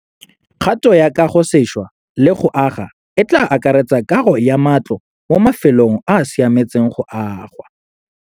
Kgato ya kagosešwa le go aga e tla akaretsa kago ya matlo mo mafelong a a siametseng go aga.